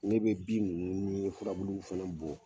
Ne be bin ninnu ni furabuluw fana bɔn.